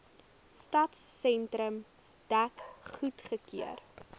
stadsentrum dek goedgekeur